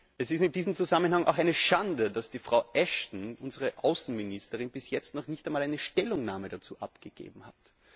Es ist in diesem Zusammenhang auch eine Schande, dass Frau Ashton, unsere Außenministerin, bis jetzt noch nicht einmal eine Stellungnahme dazu abgegeben hat.